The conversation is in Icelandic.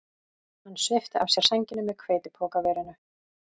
Hann svipti af sér sænginni með hveitipokaverinu.